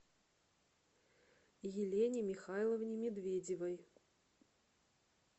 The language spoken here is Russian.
елене михайловне медведевой